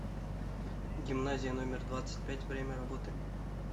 гимназия номер двадцать пять время работы